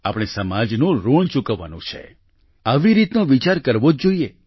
આપણે સમાજનું ઋણ ચૂકવવાનું છે આવી રીતનો વિચાર કરવો જ જોઈએ